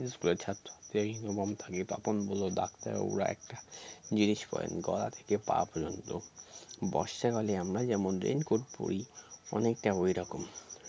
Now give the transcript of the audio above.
school এর ছাত্রদের uniform থাকে তপন বলল doctor ওরা একটা জিনিস পরেন গলা থেকে পা পর্যন্ত বর্ষাকালে আমরা যেমন raincoat পরি অনেকটা ওইরকম